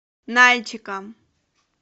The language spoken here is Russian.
нальчиком